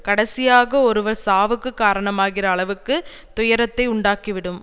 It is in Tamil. கடைசியாக ஒருவர் சாவுக்குக் காரணமாகிற அளவுக்கு துயரத்தை உண்டாக்கி விடும்